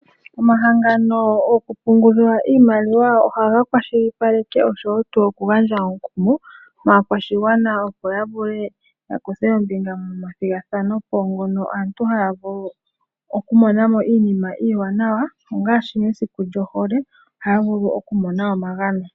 Omahango goku pungula iimaliwa ohaga kwashilipaleke noshowo okugandja omukumo kaakwashigwana opo ya vule oku kutha ombinga moma thigathanopo ngono ho vulu oku mona mo Iinima iiwanawa ngaashi mesiku lyohole haya vulu okumona omagano.